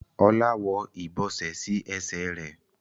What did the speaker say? Ola ń wó ibọsẹ sí Ẹsẹ̀ rẹ.